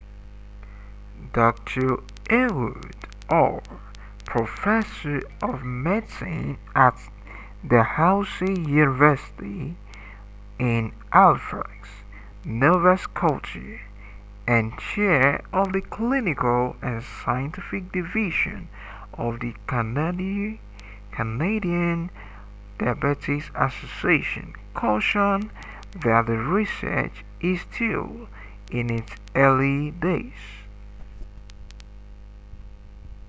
dr ehud ur professor of medicine at dalhousie university in halifax nova scotia and chair of the clinical and scientific division of the canadian diabetes association cautioned that the research is still in its early days